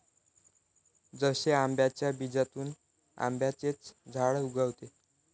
जसे आंब्याच्या बीजातून आंब्याचेच झाड उगवते.